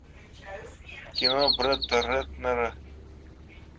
кино бретта рэтнера